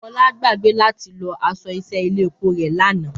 Fọláṣadé gbàgbé láti lọ aṣọ iṣẹ́ ilé epo rẹ̀ lánàá